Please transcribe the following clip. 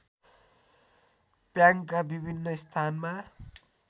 प्याङका विभिन्न स्थानमा